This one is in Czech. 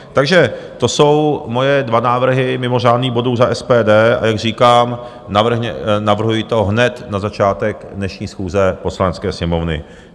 Takže to jsou moje dva návrhy mimořádných bodů za SPD, a jak říkám, navrhuji to hned na začátek dnešní schůze Poslanecké sněmovny.